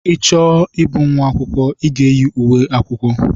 I chọọ ịbụ nwa akwụkwọ, I ga-eyi uwe akwụkwọ.